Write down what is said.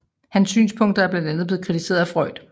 Hans synspunkter er blandt andet blevet kritiseret af Freud